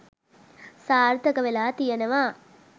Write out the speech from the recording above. සාර්ථක වෙලා තියෙනවා